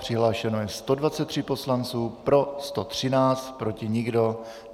Přihlášeno je 123 poslanců, pro 113, proti nikdo.